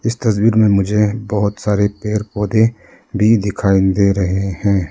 इस तस्वीर में मुझे बहोत सारे पेड़ पौधे भी दिखाई दे रहे हैं।